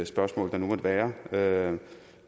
spørgsmål der nu måtte være